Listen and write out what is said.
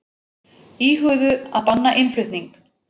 Íhuguðu að banna innflutning